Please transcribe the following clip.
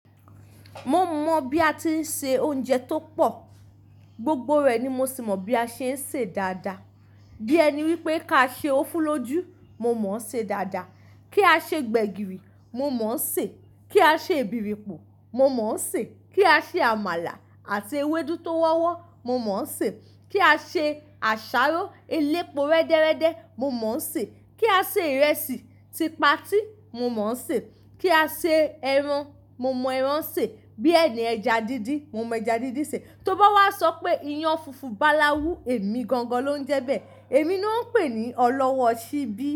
Mo mọ bi a ti ṣe ounjẹ tó pọ̀, gbogbo rẹ ni mo sì mọ bí a ṣe ń ṣe dáadáa. Bí ẹni wípé ká ṣe ófúlójú, mo mọ̀ ọ́n ṣe dáadáa. Kí á ṣe gbẹ̀gìrì, mo mọ̀ ọ́n ṣe. Kí á ṣe ìbìrìpọ̀, mo mọ̀ ọ́n ṣe. Kí á ṣe àmàlà àti ewédú tó wọ́wọ́, mo mọ̀ ọ́n ṣe. Kí á ṣe àṣàrò elépo rẹ́dẹ́rẹ́dẹ́, mo mọ̀ ọ́n ṣe. Kí á ṣe ìrẹsì, ti patíì, mo mọ̀ ọ́n ṣe. Kí á ṣe ẹran, mo mọ ẹran ṣe. Bí ẹni ẹja díndín, mo mọ ẹja díndín ṣe. Tóbá wá sọ pé iyan funfun bàláwu, èmi gangan ló ń jẹ bẹ́ẹ̀. Èmi ló ń pè é ní ọlọ́wọ́ ṣíbí.